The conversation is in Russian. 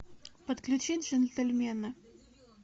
подключи джентельмены